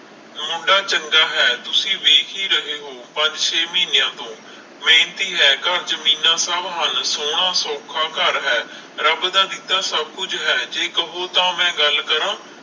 ਮੁੰਡਾ ਚੰਗਾ ਹੈ ਤੁਸੀ ਦੇਖ ਹੀ ਰਹੇ ਹੋ ਪੰਜ ਸ਼ੇ ਮਹੀਨਿਆਂ ਤੋਂ ਮੇਹਨਤੀ ਹੈ, ਘਰ ਜਮੀਨਾਂ ਸਭ ਹੱਲ ਸੋਹਣਾ, ਸੌਖਾ ਘਰ ਹੈ, ਰੱਬ ਦਾ ਦਿੱਤਾ ਸਭ ਕੁਝ ਹੈ ਜੇ ਕਹੋ ਤਾਂ ਮੈਂ ਗੱਲ ਕਰਾਂ